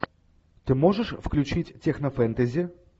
ты можешь включить технофэнтези